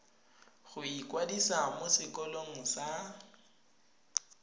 go ikwadisa mo sekolong sa